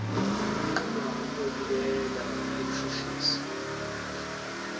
unquma ukuyobikela umshushisi